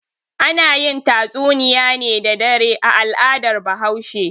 Ana yin tatsunniya ne da dare a al'adar Bahaushe.